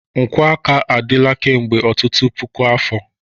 Nkwọ aka adịla kemgbe ọtụtụ puku afọ.